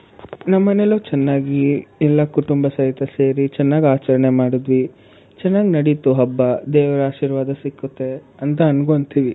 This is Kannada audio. ನಮ್ಮ ಮನೇಲೂ ಚೆನ್ನಾಗಿ ಎಲ್ಲ ಕುಟುಂಬ ಸದಸ್ಯರು ಸೇರಿ ಚೆನ್ನಾಗಿ ಆಚರಣೆ ಮಾಡುದ್ವಿ, ಚೆನ್ನಾಗಿ ನಡೀತು ಹಬ್ಬ. ದೇವರ ಆಶಿರ್ವಾದ ಸಿಕ್ಕುತ್ತೆ ಅಂತ ಅಂದ್ಕೊಂತೀವಿ.